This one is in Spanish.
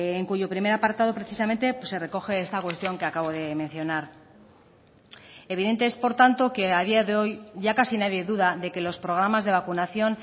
en cuyo primer apartado precisamente se recoge esta cuestión que acabo de mencionar evidente es por tanto que a día de hoy ya casi nadie duda de que los programas de vacunación